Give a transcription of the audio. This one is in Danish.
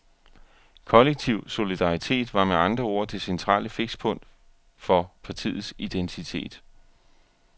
Kollektiv solidaritet var med andre ord det centrale fikspunkt for partiets identitet.